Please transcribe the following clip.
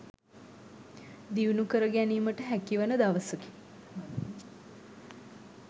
දියුණු කර ගැනීමට හැකිවන දවසකි.